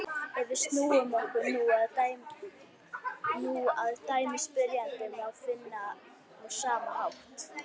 Ef við snúum okkur nú að dæmi spyrjanda má finna á sama hátt: